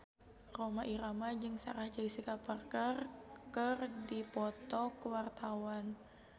Rhoma Irama jeung Sarah Jessica Parker keur dipoto ku wartawan